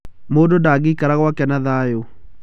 Mũndũ ndangeikara gwake na thaayũ.